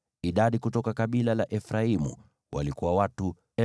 Idadi kutoka kabila la Efraimu walikuwa watu 40,500.